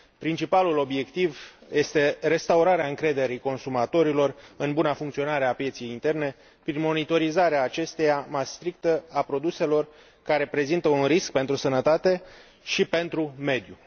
Principalul obiectiv este restaurarea încrederii consumatorilor în buna funcționare a pieței interne prin monitorizarea mai strictă a produselor care prezintă un risc pentru sănătate și pentru mediu.